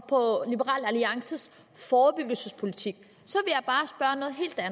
på liberal alliances forebyggelsespolitik